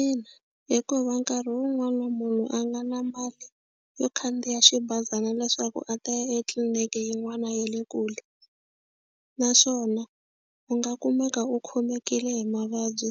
Ina, hikuva nkarhi wun'wani na munhu a nga na mali yo khandziya xibazana leswaku a ta ya etliliniki yin'wana ya le kule naswona u nga kumeka u khomekile hi mavabyi